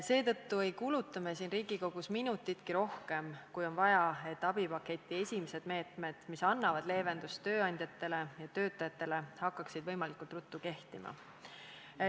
Seetõttu ei kuluta me siin Riigikogus minutitki rohkem, kui on vaja, et abipaketi esimesed meetmed, mis annavad leevendust tööandjatele ja töötajatele, hakkaksid võimalikult ruttu kehtima.